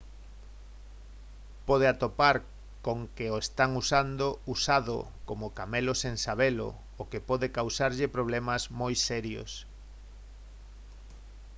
pode atopar con que o están usando usado como camelo sen sabelo o que pode causarlle problemas moi serios